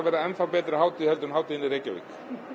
yrði enn þá betri en hátíðin en hátíðin í Reykjavík